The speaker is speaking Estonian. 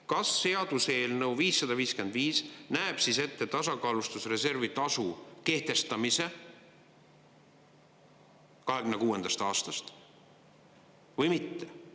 Kas seaduseelnõu 555 näeb ette tasakaalustusreservi tasu kehtestamise 2026. aastast või mitte?